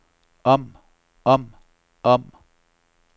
om om om